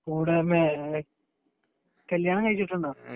കൂടെ വന്നത് ആരാണ് കല്യാണം കഴിഞ്ഞിട്ടുണ്ടോ